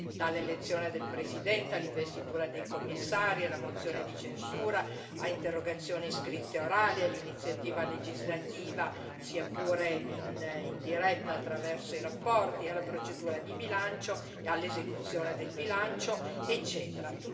dall'elezione del Presidente, all'investitura dei Commissari, alla mozione di censura, a interrogazioni scritte e orali, all'iniziativa legislativa, sia pure indiretta, attraverso le relazioni, alla procedura di bilancio e all'esecuzione del bilancio, eccetera.